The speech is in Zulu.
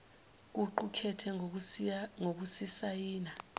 kuqu kethe ngokusisayina